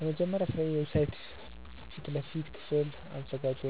የመጀመሪያ ስራዬ የዌብሳይት ፊት ለፊት ክፍል አዘጋጅ